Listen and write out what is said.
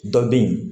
Dɔ bɛ yen